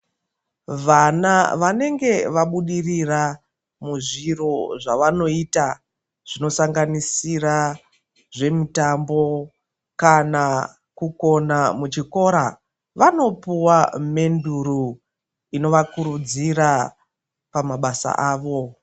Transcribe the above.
Vana vanenge vabudirira muzviro zvavanoita zvinosanganisira zvemutambo kana kugona muchikora, vanopuwa menduro inovakurudzira pamabasa avo.